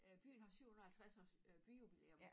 Øh byen har 750 års øh byjubilæum